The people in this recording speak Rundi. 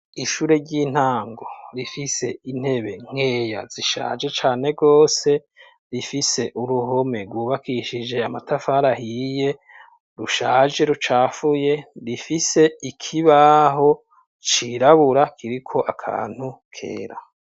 Ishure ry'intango rifise intebe nkeya zishaje cane rwose, rifise uruhome ryubakishije amatafara ahiye, rushaje ,rucafuye, rifise ikibaho cirabura kiriko akantu kera.